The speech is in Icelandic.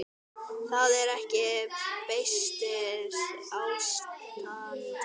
Það er ekki beysið ástand.